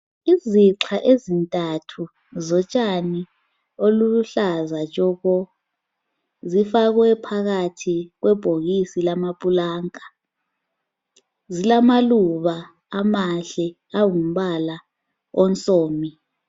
Izixha ezintathu zotshani obuluhlaza tshoko zifakwe phakathi kwebhokisi lamaplanka. Zilamaluba amahle angumbala onsomi.